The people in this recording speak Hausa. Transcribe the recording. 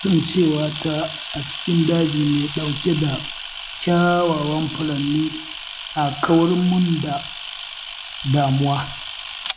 Kasancewata a cikin daji mai ɗauke da kyawawan furanni na kawar mun da damuwa.